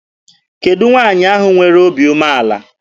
Kedụ nwaanyị ahụ nwere obi umeala?